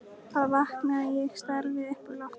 Þar vaknaði ég og starði upp í loftið.